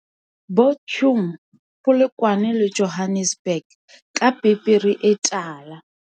Bo chum, Polokwane le Johannes burg ka pepere e tala.